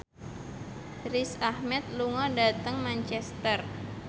Riz Ahmed lunga dhateng Manchester